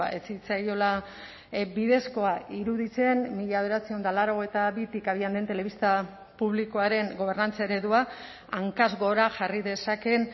ez zitzaiola bidezkoa iruditzen mila bederatziehun eta laurogeita bitik abian den telebista publikoaren gobernantza eredua hankaz gora jarri dezakeen